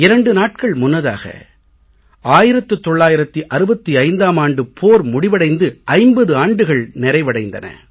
2 நாட்கள் முன்னதாக 1965ம் ஆண்டுப் போர் முடிவடைந்து 50 ஆண்டுகள் நிறைவடைந்தன